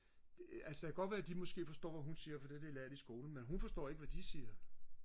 det altså det kan godt være de måske forstår hvad hun siger for det har de lært i skolen men hun forstår ikke hvad de siger